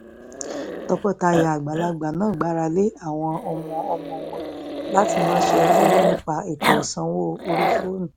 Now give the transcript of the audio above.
tọkọtaya àgbàlagbà náà gbára lé àwọn ọmọ-ọmọ wọn láti ránṣẹ́ owó nípa ètò ìsanwó orí fóònù